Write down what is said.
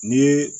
Ni ye